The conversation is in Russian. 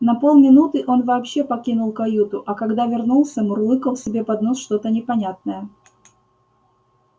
на полминуты он вообще покинул каюту а когда вернулся мурлыкал себе под нос что-то непонятное